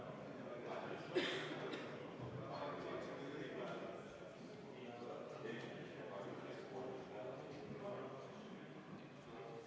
Nüüd 17. muudatusettepanek, tehtud juhtivkomisjoni poolt, arvestatud täielikult.